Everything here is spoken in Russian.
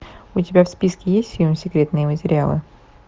у тебя в списке есть фильм секретные материалы